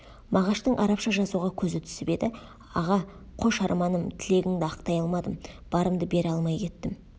мағаштың арабша жазуға көзі түсіп еді аға қош арманым тілегіңді ақтай алмадым барымды бере алмай кеттім